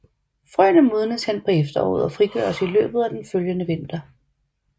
Frøene modnes hen på efteråret og frigøres i løbet af den følgende vinter